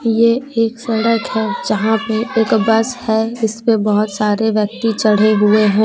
ये एक सड़क है जहां पे एक बस है इस पे बहोत सारे व्यक्ति चढ़े हुए हैं।